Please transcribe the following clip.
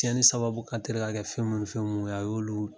Tiɲɛni sababu ka telin ka kɛ fɛn munun ni fɛn munun ye a y'olu